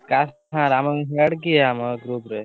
।